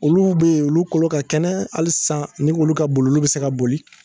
Olu be yen olu kolo ka kɛnɛ ali san ni k'olu ka boli olu be se ka boli